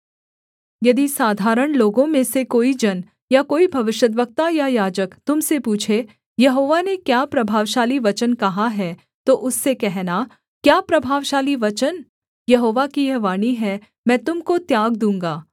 यदि साधारण लोगों में से कोई जन या कोई भविष्यद्वक्ता या याजक तुम से पूछे यहोवा ने क्या प्रभावशाली वचन कहा है तो उससे कहना क्या प्रभावशाली वचन यहोवा की यह वाणी है मैं तुम को त्याग दूँगा